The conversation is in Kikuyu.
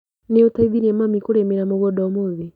Nĩũteithirie mami kũrĩmĩra mũgunda ũmũthĩ?